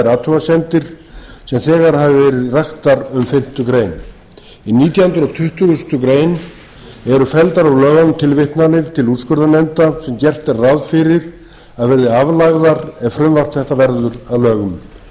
athugasemdir sem þegar hafa verið raktar um fimmtu grein í nítjándu og tuttugustu greinar eru felldar úr lögunum tilvitnanir til úrskurðarnefnda sem gert er ráð fyrir að verði aflagðar ef frumvarp þetta verður að lögum í